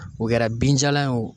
O kɛra binjalan ye wo